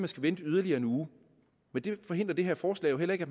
skal vente yderligere en uge men det forhindrer det her forslag jo heller ikke